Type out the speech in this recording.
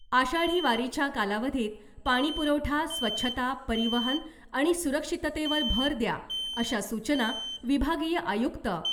आषाढी वारीच्या कालावधीत पाणी पुरवठा , स्वच्छता , परिवहन आणि सुरक्षिततेवर भर द्या अशा सूचना विभागीय आयुक्त